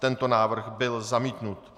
Tento návrh byl zamítnut.